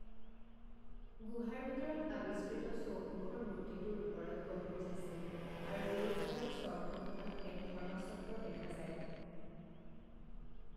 গুহাৰ ভিতৰত আৱিষ্কৃত চৌমুখৰ মূৰ্তিটোৰ ওপৰত গম্বুজ আছে আৰু দুয়োফালৰ স্তম্ভখনত এক ধৰ্মাচক্ৰ দেখা যায়।